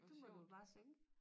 Det må du bare synge